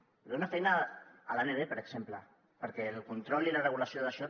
hi ha d’haver una feina a l’amb per exemple perquè el control i la regulació d’això